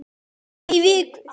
París í viku?